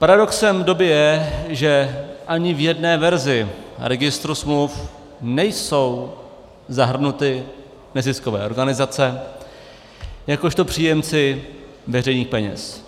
Paradoxem doby je, že ani v jedné verzi registru smluv nejsou zahrnuty neziskové organizace jakožto příjemci veřejných peněz.